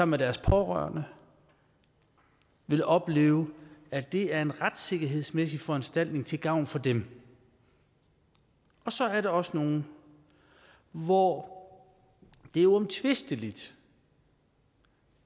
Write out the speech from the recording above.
med deres pårørende vil opleve at det er en retssikkerhedsmæssig foranstaltning til gavn for dem og så er der også nogle hvor det er uomtvisteligt